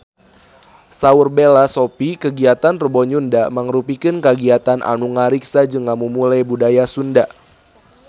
Saur Bella Shofie kagiatan Rebo Nyunda mangrupikeun kagiatan anu ngariksa jeung ngamumule budaya Sunda